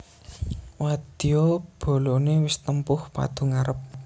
Wadya balané wis tempuh padu ngarep